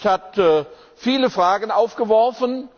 Der Bericht hat viele Fragen aufgeworfen.